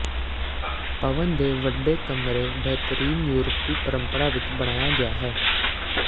ਭਵਨ ਦੇ ਵੱਡੇ ਕਮਰੇ ਬੇਹਤਰੀਨ ਯੂਰਪੀ ਪਰੰਪਰਾ ਵਿੱਚ ਬਣਾਇਆ ਗਿਆ ਹੈ